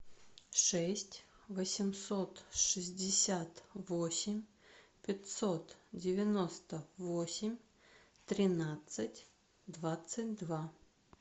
шесть восемьсот шестьдесят восемь пятьсот девяносто восемь тринадцать двадцать два